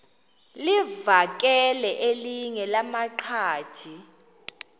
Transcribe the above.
livakele elinye lamaqhaji